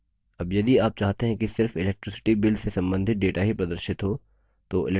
अब यदि आप चाहते हैं कि सिर्फ electricity bill से संबंधित data ही प्रदर्शित हो